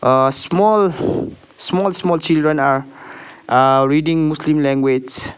ah small small small children are ah reading muslim language.